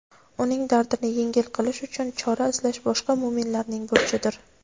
uning dardini yengil qilish uchun chora izlash boshqa mo‘minlarning burchidir.